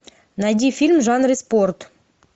найди фильм в жанре спорт